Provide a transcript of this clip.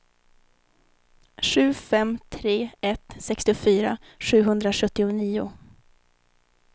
sju fem tre ett sextiofyra sjuhundrasjuttionio